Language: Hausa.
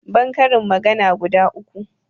ban karin magana guda uku